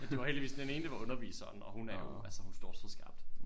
Det var heldigvis den ene det var underviseren og hun er jo altså hun står så skarpt